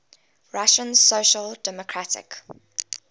russian social democratic